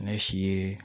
Ne si ye